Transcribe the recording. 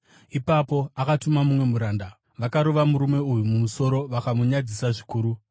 Ipapo akatuma mumwe muranda; vakarova murume uyu mumusoro vakamunyadzisa zvikuru.